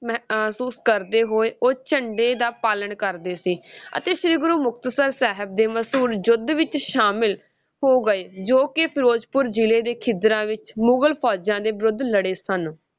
ਮਹਿ~ ਅਹ ~ਸੂਸ ਕਰਦੇ ਹੋਏ, ਉਹ ਝੰਡੇ ਦਾ ਪਾਲਣ ਕਰਦੇ ਸੀ ਅਤੇ ਸ੍ਰੀ ਗੁਰੂ ਮੁਕਤਸਰ ਸਾਹਿਬ ਦੇ ਮਸ਼ਹੂਰ ਯੁੱਧ ਵਿਚ ਸ਼ਾਮਲ ਹੋ ਗਏ, ਜੋ ਕਿ ਫਿਰੋਜ਼ਪੁਰ ਜ਼ਿਲੇ ਦੇ ਖਿੱਦਰਾਂ ਵਿੱਚ ਮੁਗਲ ਫੌਜਾਂ ਦੇ ਵਿਰੁੱਧ ਲੜੇ ਸਨ।